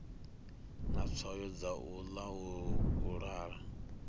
na tswayo dza u laula